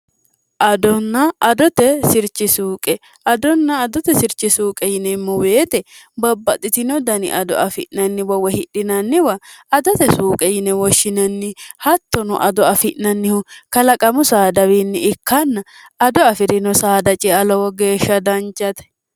adonna adote shirchi suuqe adonna adote shirchi suuqe yinemmo weete babbaxitino dani ado afi'nanniwa wa hidhinanniwa adote suuqe yine woshshinanni hattono ado afi'nannihu kalaqamu saadawiinni ikkanna ado afi'rino saada cialowo geeshsha dancate